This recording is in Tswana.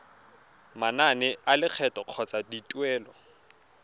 manane a lekgetho kgotsa dituelo